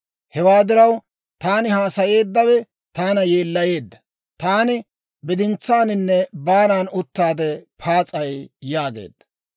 Hewaa diraw, taani haasayeeddawe taana yeellayeedda. Taani bidintsaaninne baanan uttaade paas'ay» yaageedda.